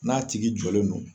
N'a tigi jɔlen do